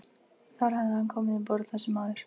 Þar hafði hann komið um borð, þessi maður.